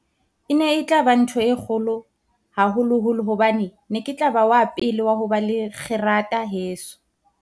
E ne e tla ba ntho e kgolo, haholoholo hobane ke ne ke tla ba wa pele wa ho ba le kgerata heso.